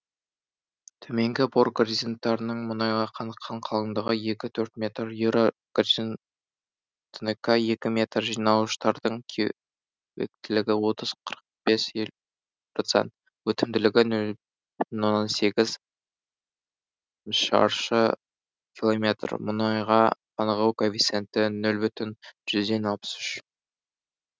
төменгі бор горизонттарының мұнайға қаныққан қалыңдығы екі төрт метр юра горизонтынікі екі метр жинауыштардың кеуектілігі отыз қырық бес процент өтімділігі нөл бүтін оннан сегізшаршы километр мұнайға қанығу коэффициенті нөл бүтін жүзден алпыс үш